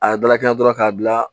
A ye dalakɛɲɛ dɔrɔn k'a bila